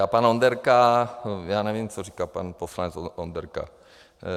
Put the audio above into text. A pan Onderka - já nevím, co říká pan poslanec Onderka.